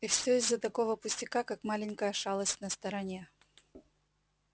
и всё из-за такого пустяка как маленькая шалость на стороне